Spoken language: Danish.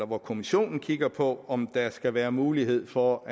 hvor kommissionen kigger på om der skal være mulighed for